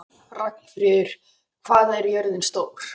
Ragnfríður, hvað er jörðin stór?